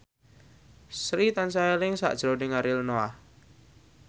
Sri tansah eling sakjroning Ariel Noah